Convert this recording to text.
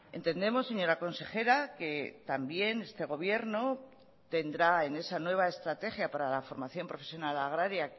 entendemos señora consejera que también este gobierno tendrá en esa nueva estrategia para la formación profesional agraria